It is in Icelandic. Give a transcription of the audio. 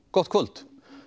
gott kvöld